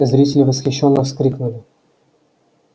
зрители восхищённо вскрикнули